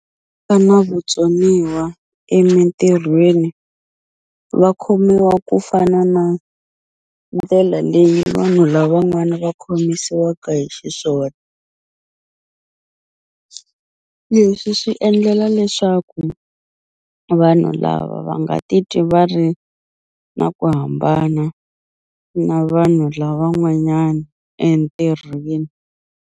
Na vutsoniwa emintirhweni va khomiwa ku fana na ndlela leyi vanhu lavan'wani va khomisiwaka hi xiswona leswi swi endlela leswaku vanhu lava va nga ti twi va ri na ku hambana na vanhu lavan'wanyani entirhweni.